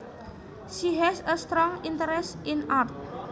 She has a strong interest in art